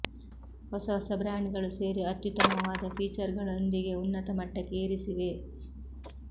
ಹೊಸ ಹೊಸ ಬ್ರ್ಯಾಂಡ್ಗಳು ಸೇರಿ ಅತ್ಯುತ್ತಮವಾದ ಫೀಚರ್ಗಳೊಂದಿಗೆ ಉನ್ನತ ಮಟ್ಟಕ್ಕೆ ಏರಿಸಿವೆ